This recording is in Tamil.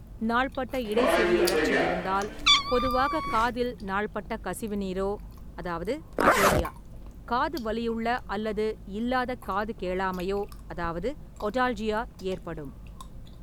நாள்பட்ட இடை செவியழற்சி இருந்தால் பொதுவாக காதில் நாள்பட்ட கசிவுநீரோ அதாவது அட்டோரியா காது வலியுள்ள அல்லது இல்லாத காது கேளாமையோ அதாவது ஓடால்ஜியா ஏற்படும்.